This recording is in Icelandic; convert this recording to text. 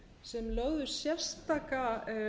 sem lögðu sérstaka